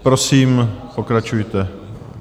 Prosím, pokračujte.